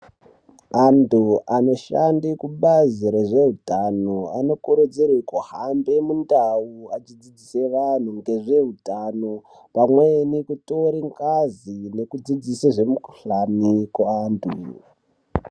Antu anoshande kubazi rezvehutano anokurudzirwe kuhambe mundau achidzidzise vanhu ngezvehutano. Pamweni kutore ngazi nekudzidzise zvemukuhlani kuantu.